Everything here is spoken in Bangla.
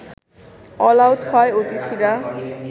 অলআউট হয় অতিথিরা